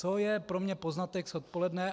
Co je pro mě poznatek z odpoledne?